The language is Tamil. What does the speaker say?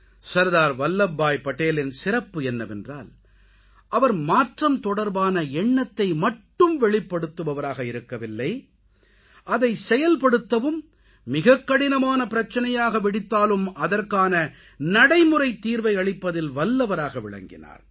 சர்தார் வல்லப் பாய் படேலின் சிறப்பு என்னவென்றால் அவர் மாற்றம் தொடர்பான எண்ணத்தை மட்டும் வெளிப்படுத்துபவராக இருக்கவில்லை அதை செயல்படுத்தவும் மிகக் கடினமான பிரச்சனையாக வெடித்தாலும் அதற்கான நடைமுறை தீர்வை அளிப்பதில் வல்லவராக விளங்கினார்